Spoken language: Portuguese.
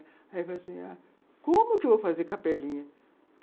Aí ela falou assim, como que eu vou fazer capelinha?